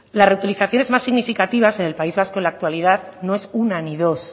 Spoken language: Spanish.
la reutilizaciones más significativas en el país vasco en la actualidad no es una ni dos